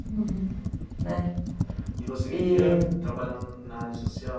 Né, e você queria trabalhar na área social?